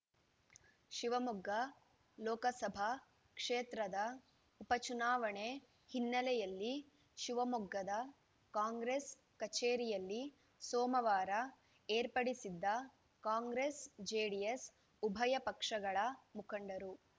ಶಿವಮೊಗ್ಗ ಲೋಕಸಭಾ ಕ್ಷೇತ್ರದ ಉಪಚುನಾವಣೆ ಹಿನ್ನೆಲೆಯಲ್ಲಿ ಶಿವಮೊಗ್ಗದ ಕಾಂಗ್ರೆಸ್‌ ಕಚೇರಿಯಲ್ಲಿ ಸೋಮವಾರ ಏರ್ಪಡಿಸಿದ್ದ ಕಾಂಗ್ರೆಸ್‌ ಜೆಡಿಎಸ್‌ ಉಭಯ ಪಕ್ಷಗಳ ಮುಖಂಡರು